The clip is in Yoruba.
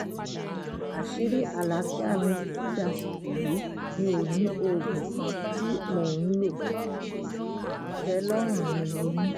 àṣírí àlàáfíà mi títí dàsìkò yìí mi ò ní oògùn kan tí mò ń lo ìtẹ́lọ́rùn ni mo ní